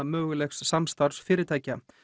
mögulegt samstarf fyrirtækja